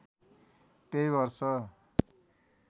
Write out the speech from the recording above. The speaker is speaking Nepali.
त्यही वर्ष